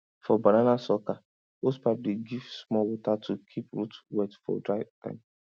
for banana sucker hosepipe dey give small water to keep root wet for dry time